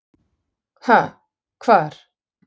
Ha, hvar?